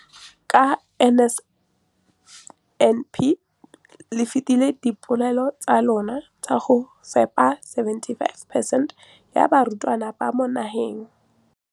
Ka NSNP le fetile dipeelo tsa lona tsa go fepa masome a supa le botlhano a diperesente ya barutwana ba mo nageng.